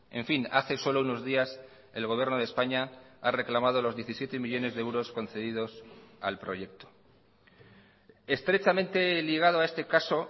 en fin hace solo unos días el gobierno de españa ha reclamado los diecisiete millónes de euros concedidos al proyecto estrechamente ligado a este caso